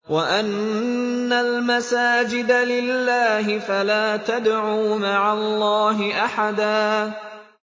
وَأَنَّ الْمَسَاجِدَ لِلَّهِ فَلَا تَدْعُوا مَعَ اللَّهِ أَحَدًا